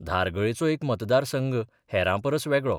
धारगळेचो एक मतदारसंघ हेरांपरस वेगळो.